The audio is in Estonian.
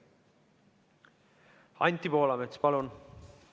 Anti Poolamets, palun!